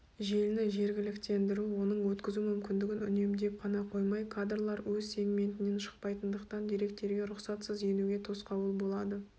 желіні жергіліктендіру оның өткізу мүмкіндігін үнемдеп қана қоймай кадрлар өз сегментінен шықпайтындықтан деректерге рұқсатсыз енуге тосқауыл болады